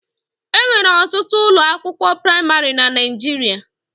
E nwere ọtụtụ ụlọakwụkwọ praịmarị na Naịjirịa.